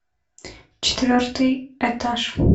четвертый этаж